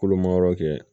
Kolomayɔrɔ kɛ